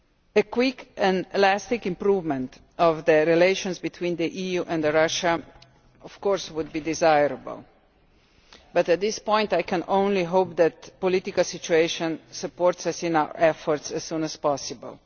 A quick and lasting improvement in relations between the EU and Russia would of course be desirable, but at this point I can only hope that the political situation supports us in our efforts as soon as possible.